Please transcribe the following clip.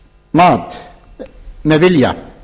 mat með vilja